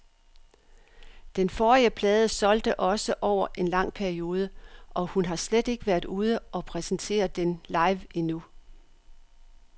Den forrige plade solgte også over en lang periode, og hun har slet ikke været ude og præsentere den live endnu.